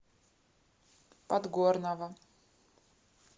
подгорного